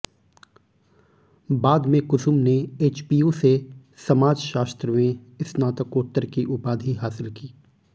बाद में कुसुम ने एचपीयू से समाज शास्त्र में स्नारकोत्तर की उपाधि हासिल की